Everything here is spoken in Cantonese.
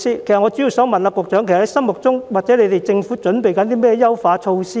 其實，局長心目中或政府正準備推出甚麼優化措施？